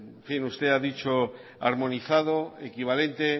usted ha dicho armonizado equivalente